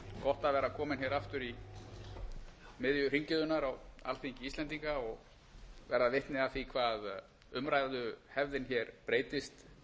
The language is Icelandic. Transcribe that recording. að vera kominn hér aftur í miðju hringiðunnar á alþingi íslendinga og verða vitni að því hvað umræðuhefðin hér breytist